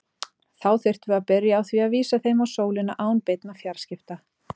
Þá þyrftum við að byrja á því að vísa þeim á sólina án beinna fjarskipta.